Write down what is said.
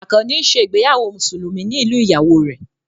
Àkànnì ń ṣe ìgbéyàwó Mùsùlùmí ní ìlú ìyàwó rẹ̀